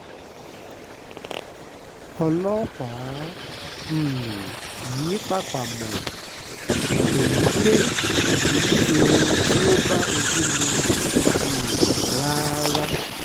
ọlọ́pàá um yìí pàápàá mọ èyí pé kì í ṣohun tó bá ojú mu um rárá